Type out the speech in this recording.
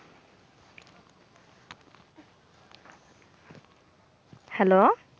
Hello